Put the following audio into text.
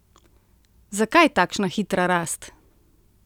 Zakaj takšna hitra rast?